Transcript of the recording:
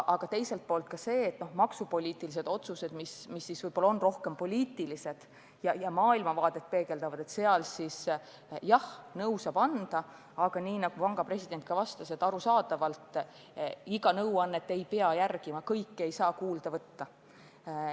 Aga mis puutub maksupoliitilistesse otsustesse, mis on rohkem puhtpoliitilised ja peegeldavad maailmavaadet, siis jah, keskpank saab nõu anda, aga nagu panga president ütles, arusaadavalt iga nõuannet ei pea järgima, kõike ei saa kuulda võtta.